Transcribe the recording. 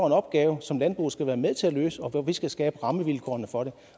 en opgave som landbruget skal være med til at løse og hvor vi skal skabe rammevilkårene for det